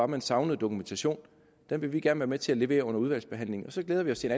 man savnede dokumentation den vil vi gerne være med til at levere under udvalgsbehandlingen så glæder vi os til